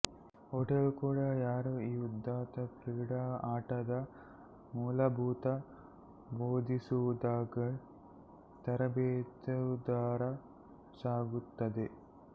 hotel ಕೂಡ ಯಾರು ಈ ಉದಾತ್ತ ಕ್ರೀಡಾ ಆಟದ ಮೂಲಭೂತ ಬೋಧಿಸುವುದಾಗಿ ತರಬೇತುದಾರ ಸಾಗುತ್ತದೆ